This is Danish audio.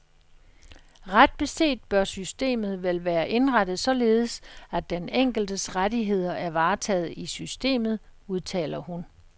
Ret beset bør systemet vel være indrettet således, at den enkeltes rettigheder er varetaget i systemet, udtaler hun.